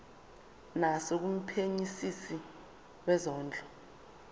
naso kumphenyisisi wezondlo